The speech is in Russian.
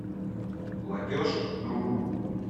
платеж другу